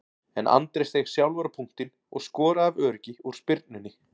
En Andri steig sjálfur á punktinn og skoraði af öryggi úr spyrnunni.